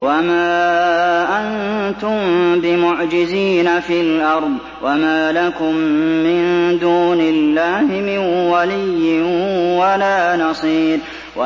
وَمَا أَنتُم بِمُعْجِزِينَ فِي الْأَرْضِ ۖ وَمَا لَكُم مِّن دُونِ اللَّهِ مِن وَلِيٍّ وَلَا نَصِيرٍ